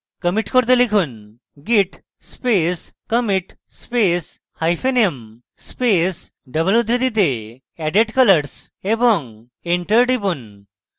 commit করতে লিখুন: git space commit space hyphen m space double উদ্ধৃতিতে added colors এবং enter টিপুন